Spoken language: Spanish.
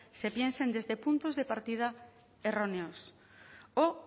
se piensen desde puntos de partida erróneos o